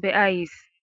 beyays.